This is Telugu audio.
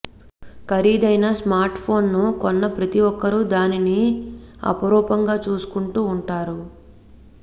ఖరీదైన స్మార్ట్ఫోన్ను కొన్న ప్రతి ఒక్కరు దానిని అపురూపంగా చూసుకుంటూ ఉంటారు